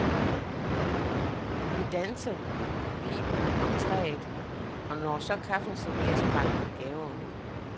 Vi danser vi om træet, og når så kaffen serveres, pakker vi gaver ud.